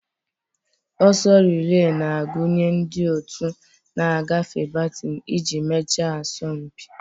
Oso relee na-agụnye ndị otu na-agafe batin iji mechaa asọmpi.